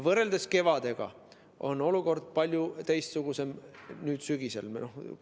Võrreldes kevadega on olukord nüüd sügisel palju teistsugusem.